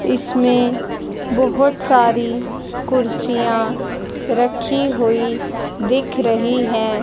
इसमें बहोत सारी कुर्सियां रखी हुई दिख रही है।